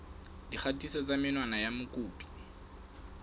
dikgatiso tsa menwana ya mokopi